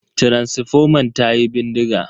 Taransifoman tayi bindiga.